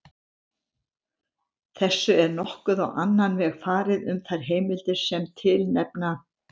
Þessu er nokkuð á annan veg farið um þær heimildir sem tilnefna